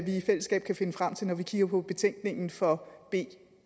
i fællesskab kan finde frem til når vi kigger på betænkningen fra b